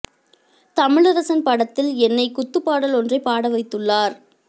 தமிழரசன் படத்தில் என்னை குத்து பாடல் ஒன்றை பாட வைத்துள்ளார்